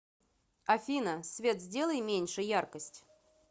афина свет сделай меньше яркость